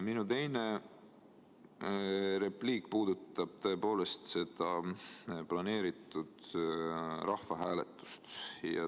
Minu teine repliik puudutab seda planeeritud rahvahääletust.